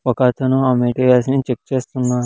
ఒక అతను ఆ మాటేరియల్స్ ని చెక్ చేస్తున్నా--